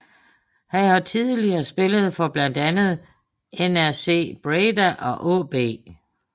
Han har tidligere spillet for blandt andet NAC Breda og AaB